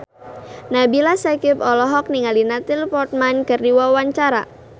Nabila Syakieb olohok ningali Natalie Portman keur diwawancara